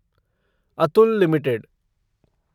Atul limited